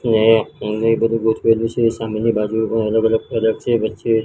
ને બધુ ગોઠવેલું છે સામેની બાજુ પણ અલગ અલગ પ્રોડક્ટ છે વચ્ચે--